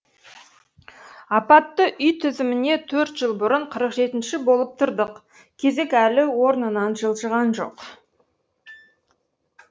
апатты үй тізіміне төрт жыл бұрын қырық жетінші болып тұрдық кезек әлі орнынан жылжыған жоқ